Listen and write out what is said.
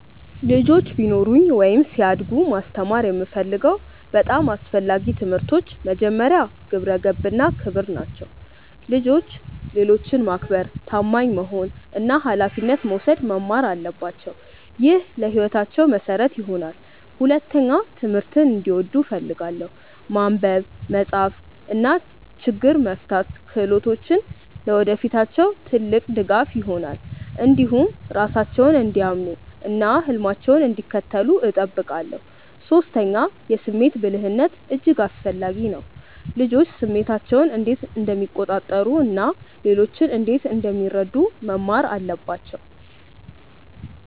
ልጆች ቢኖሩኝ ወይም ሲያድጉ ማስተማር የምፈልገው በጣም አስፈላጊ ትምህርቶች መጀመሪያ፣ ግብረ ገብነት እና ክብር ናቸው። ልጆች ሌሎችን ማክበር፣ ታማኝ መሆን እና ኃላፊነት መውሰድ መማር አለባቸው። ይህ ለሕይወታቸው መሠረት ይሆናል። ሁለተኛ፣ ትምህርትን እንዲወዱ እፈልጋለሁ። ማንበብ፣ መጻፍ እና ችግኝ መፍታት ክህሎቶች ለወደፊታቸው ትልቅ ድጋፍ ይሆናሉ። እንዲሁም ራሳቸውን እንዲያምኑ እና ህልማቸውን እንዲከተሉ እጠብቃለሁ። ሶስተኛ፣ የስሜት ብልህነት እጅግ አስፈላጊ ነው። ልጆች ስሜታቸውን እንዴት እንደሚቆጣጠሩ እና ሌሎችን እንዴት እንደሚረዱ መማር አለባቸው